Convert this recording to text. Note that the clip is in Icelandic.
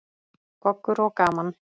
Goggur og gaman.